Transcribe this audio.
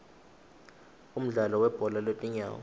umdlalo webhola lwetinyawo